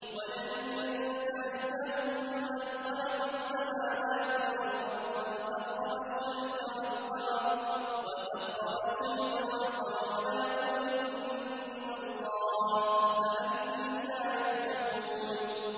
وَلَئِن سَأَلْتَهُم مَّنْ خَلَقَ السَّمَاوَاتِ وَالْأَرْضَ وَسَخَّرَ الشَّمْسَ وَالْقَمَرَ لَيَقُولُنَّ اللَّهُ ۖ فَأَنَّىٰ يُؤْفَكُونَ